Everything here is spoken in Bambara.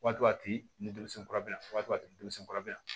Waati a tɛ ni denmisɛnnin kura bɛ yan waati kura bɛ yan